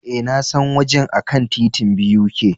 E, Na san wajen a kan titin BUK.